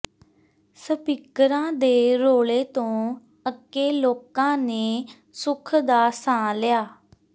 ਸਪੀਕਰਾਂ ਦੇ ਰੌਲੇ ਤੋਂ ਅੱਕੇ ਲੋਕਾਂ ਨੇ ਸੁੱਖ ਦਾ ਸਾਹ ਲਿਆ